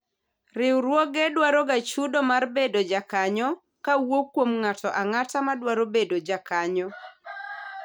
Riwruoge dwaro ga chudo mar bedo jakanyo kowuok kuom ng'ato ang'ata madwaro bedo jakanyo